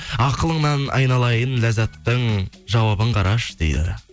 ақылыңнан айналайын ләззаттың жауабын қарашы дейді